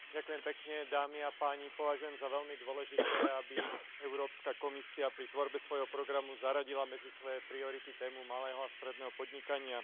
Vážený pán predsedajúci, považujem za veľmi dôležité, aby Európska komisia pri tvorbe svojho programu zaradila medzi svoje priority tému malého a stredného podnikania.